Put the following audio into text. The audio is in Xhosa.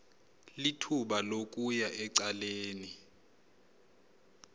lithuba lokuya ecaleni